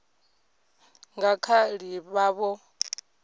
nga kha ḓi vha vho